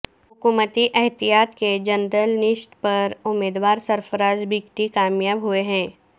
حکومتی اتحاد کے جنرل نشست پر امیدوار سرفراز بگٹی کامیاب ہوئے ہیں